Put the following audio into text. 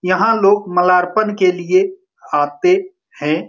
यहाँ लोग मलारपन के लिए आते हैं।